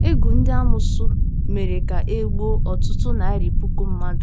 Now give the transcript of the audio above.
Égwù ndị amoosu mere ka e gbuo ọtụtụ narị puku mmadụ.